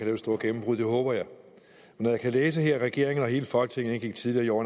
det store gennembrud det håber jeg og når jeg kan læse her at regeringen og hele folketinget tidligere i år